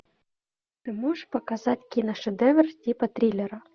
ты можешь показать киношедевр типа триллера